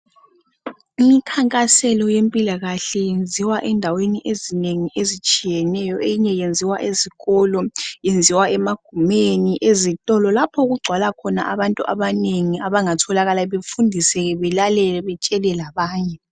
Imikhankaselo yempilakahle yenziwa endaweni ezinengi ezitshiyeneyo. Eyinye yenziwa ezikolo, yenziwa emagumeni ezitolo lapho okugcwala khona abantu abanengi abangatholakala befundiseke belalele betshele labanye.